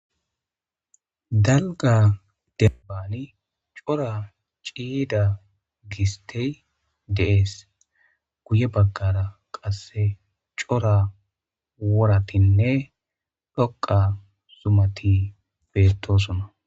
Dalgga dembani cora ciida gistey de'ees guye baggara qasse cora woratinne dhoqa zumati bettosoona